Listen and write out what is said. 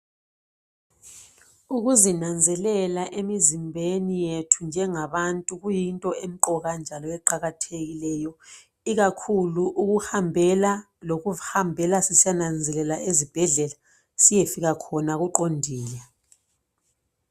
Ukuzinanzelela emizimbeni yethu njengabantu kuyinto emqoka njalo eqakathekileyo ikakhulu ukuhambela lokuziihambela sisiyananzelelwa ezibhedlela siyefika khona kuqondile.